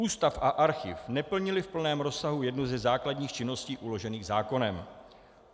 Ústav a archiv neplnily v plném rozsahu jednu ze základních činností uložených zákonem.